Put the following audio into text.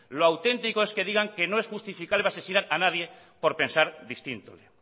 lo auténtico es que digan que no es justificable asesinar a nadie por pensar distinto